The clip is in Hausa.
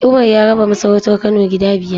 Umar ya raba masarautar Kano gida biyar.